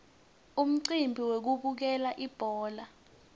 umcimbi wekubukela ibhola